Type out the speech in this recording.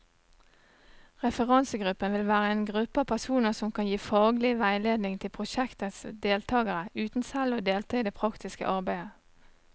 Referansegruppen vil være en gruppe av personer som kan gi faglig veiledning til prosjektets deltagere, uten selv å delta i det praktiske arbeidet.